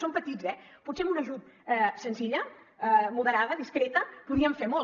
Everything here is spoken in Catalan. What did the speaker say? són petits eh potser amb una ajuda senzilla moderada discreta podrien fer molt